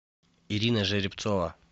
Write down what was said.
ирина жеребцова